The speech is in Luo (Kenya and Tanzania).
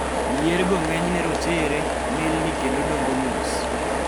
yier go ng'eny ne rochere, milni kendo dongo mos